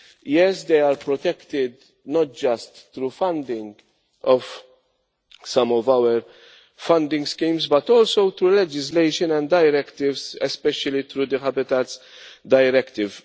yes, they are protected not just through funding from some of our funding schemes but also through legislation and directives, especially through the Habitats Directive.